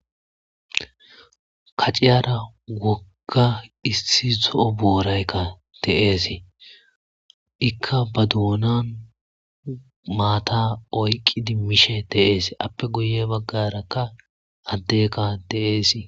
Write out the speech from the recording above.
kaciyara wogga issi zo7o booraykka teeesii ikka ba duunan maata oyqqi dimmishe teees appe guye baggarakka addeka deeesii